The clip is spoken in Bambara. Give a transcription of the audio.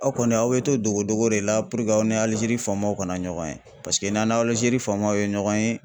Aw kɔni aw bɛ to dogodogo de la puruke aw ni Alizeri faamaw kana ɲɔgɔn ye paseke n'aw ni Alizeri faamaw ye ɲɔgɔn ye